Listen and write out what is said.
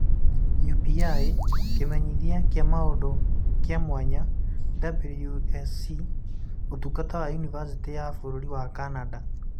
(UPI) Kĩmenyithia kĩa mũndũ kĩa mwanya (WUSC) Ũtungata wa Yunivasĩtĩ ya bũrũri wa Canada